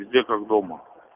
везде как дома